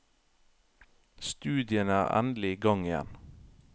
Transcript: Studiene er endelig i gang igjen.